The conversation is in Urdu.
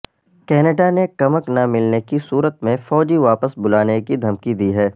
کینیڈا نے کمک نہ ملنے کی صورت میں فوجی واپس بلانے کی دھمکی دی ہے